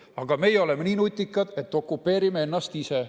Aga meie oleme nii nutikad, et okupeerime ennast ise.